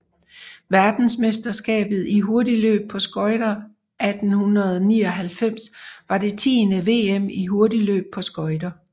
Verdensmesterskabet i hurtigløb på skøjter 1899 var det tiende VM i hurtigløb på skøjter